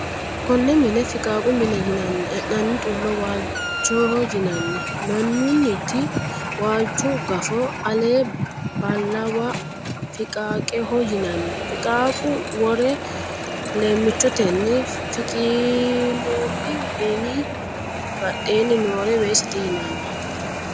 Konne mine fiqaaqu mine yinanni. E'nanni xullo waalchiho yinanni. Minunnita waalchu gafo ale baalawa fiqaaqeho yinanni. Fiqaaqu woro leemichotenni fukkinoonni. minu badheenni noore weesete yinanni.